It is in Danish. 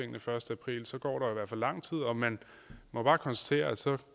den første april og så går der i hvert fald lang tid og man må bare konstatere at så